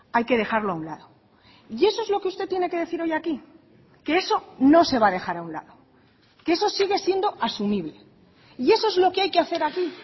hay que dejarlo a un lado y eso es lo que usted tiene que decir hoy aquí que eso no se va a dejar a un lado que eso sigue siendo asumible y eso es lo que hay que hacer aquí